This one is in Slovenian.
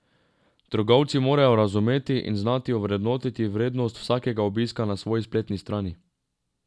Trgovci morajo razumeti in znati ovrednotiti vrednost vsakega obiska na svoji spletni strani.